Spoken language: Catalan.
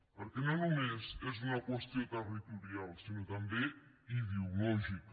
perquè no només és una qüestió territorial sinó també ideològica